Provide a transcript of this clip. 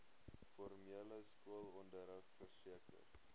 formele skoolonderrig verseker